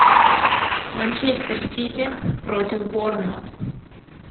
манчестер сити против борнмут